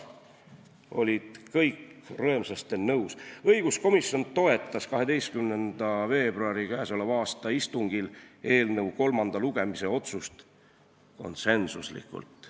Õiguskomisjon toetas k.a 12. veebruari istungil eelnõu kolmanda lugemise otsust konsensuslikult.